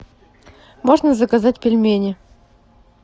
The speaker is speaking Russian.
можно заказать пельмени